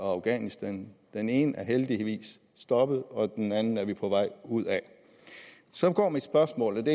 afghanistan den ene er heldigvis stoppet og den anden er vi på vej ud af mit spørgsmål